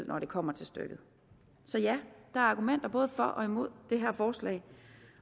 når det kommer til stykket så ja der er argumenter både for og imod det her forslag